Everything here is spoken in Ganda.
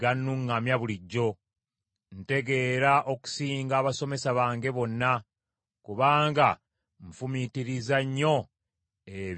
Ntegeera okusinga abasomesa bange bonna, kubanga nfumiitiriza nnyo ebyo bye walagira.